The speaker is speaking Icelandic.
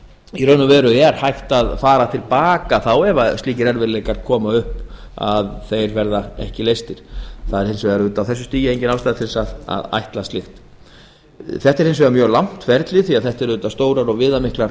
í raun og veru er hægt að fara til baka ef slíkir erfiðleikar koma upp að þeir verða ekki leystir á þessu stigi er engin ástæða til að ætla slíkt þetta er mjög langt ferli því að stofnanirnar eru stórar og viðamiklar